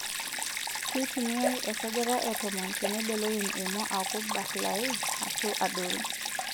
Keitumiyai esajata e tomon teneibelekeny emwua aaku barlai ashuu adoru.